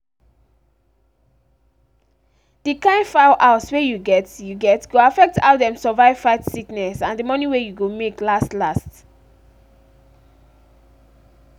d kind fowl house were u get u get go affect how dem survive fight sickness and the money wey you go make last-last.